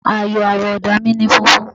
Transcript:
Àyò àwọ̀ ọ̀dà mi ni funfun.